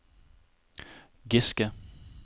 Giske